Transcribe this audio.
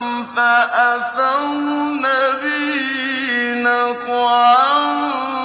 فَأَثَرْنَ بِهِ نَقْعًا